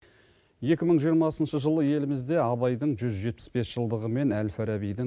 екі мың жиырмасыншы жылы елімізде абайдың жүз жетпіс бес жылдығы мен әл фарабидің